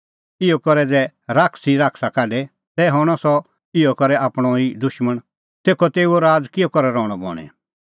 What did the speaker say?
इहअ करै ज़ै शैतान ई शैताना काढे तै हणअ सह इहअ करै आपणअ ई दुशमण तेखअ तेऊओ राज़ किहअ करै रहणअ बणीं